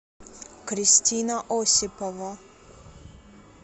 кристина осипова